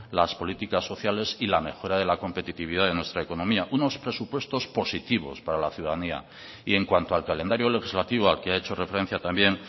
las políticas sociales y la mejora de la competitividad de nuestra economía unos presupuestos positivos para la ciudadanía y en cuanto al calendario legislativo al que ha hecho referencia también